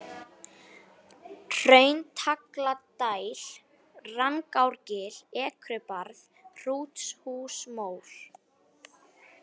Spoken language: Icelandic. Hrauntagladæl, Rangárgil, Ekrubarð, Hrúthúsmór